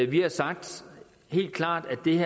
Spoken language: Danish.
vi har sagt helt klart